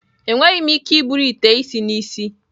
Enweghị m ike iburu ite isi n'isi.